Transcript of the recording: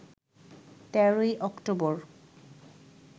১৩ ই অক্টোবর